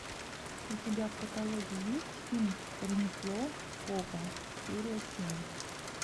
у тебя в каталоге есть фильм ремесло копа серия семь